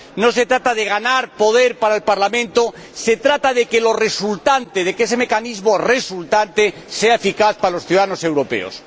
No se trata de ganar poder para el Parlamento. Se trata de que lo resultante, de que ese mecanismo resultante, sea eficaz para los ciudadanos europeos.